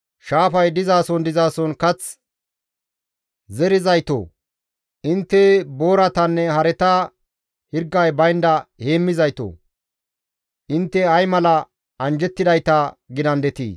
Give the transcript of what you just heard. shaafay dizason dizason kath zerizaytoo, intte booratanne hareta hirgay baynda heemmizaytoo, intte ay mala anjjettidayta gidandetii!